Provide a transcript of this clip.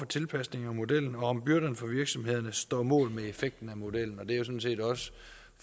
tilpasning af modellen og om byrderne for virksomhederne står mål med effekten af modellen og det er jo sådan set også